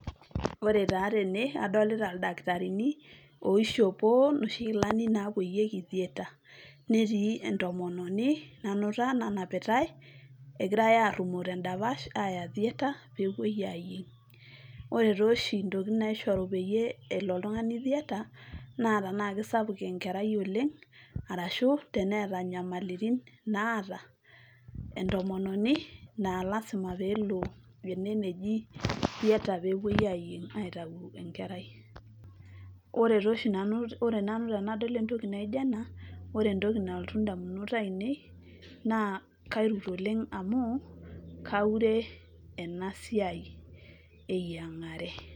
ore taa tene adolita ildaktarini oishopo inoshi kilani napuoyieki theatre netii entomononi nanuta nanapitae egirae arrumoo tendapash aya theatre pepuoi ayieng ore tooshi intokitin naishoru peyie elo oltung'ani theatre naa tanaa kisapuk enkerai oleng arashu teneeta nyamalitin naata entomononi naa lasima peelo ene neji theatre pepuoi ayieng aitau enkerai ore tooshi nanu, ore nanu tenadol entoki naijo ena wore entoki nalotu indamunot ainei naa kairut oleng amu kaure enasiai eyiang'are.